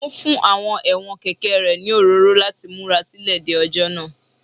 Ó ń fún àwọn ẹ̀wọ̀n kẹ̀kẹ́ rẹ̀ ní òróró láti múra sílẹ̀ de ọjọ́ náà